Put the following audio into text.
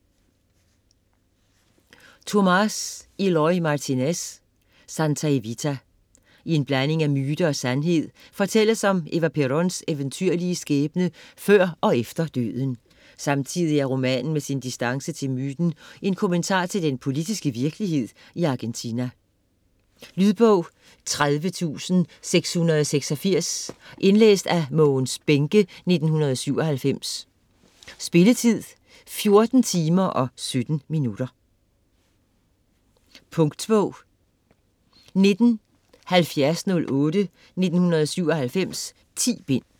Martínez, Tomás Eloy: Santa Evita I en blanding af myte og sandhed fortælles om Eva Peróns eventyrlige skæbne før og efter døden. Samtidig er romanen med sin distance til myten en kommentar til den politiske virkelighed i Argentina. Lydbog 30686 Indlæst af Mogens Bähncke, 1997. Spilletid: 14 timer, 17 minutter. Punktbog 197008 1997. 10 bind.